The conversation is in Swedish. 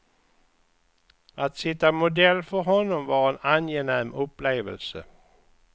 Att sitta modell för honom var en angenäm upplevelse.